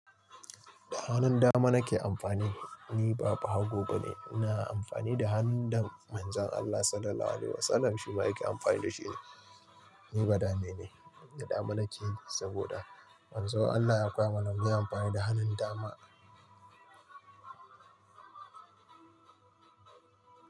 Da hannun dama nake amfani, ni ba ɓahago bane. Ina amfani da hannun da Manzon Allah Sallallahu Alaihi Wasallam shi ma yake amfani da shi ne. Ni badame ne, da dama nake saboda Manzon Allah ya koya mana mu yi amfani da hannun dama.